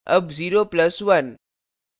अब 0 plus 1